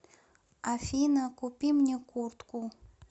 афина купи мне куртку